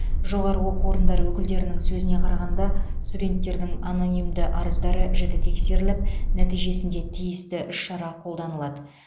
жоғары оқу орындары өкілдерінің сөзіне қарағанда студенттердің анонимді арыздары жіті тексеріліп нәтижесінде тиісті іс шара қолданылады